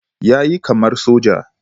Ya yi kamar soja